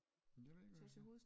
Men det ved jeg ikke hvad vi skal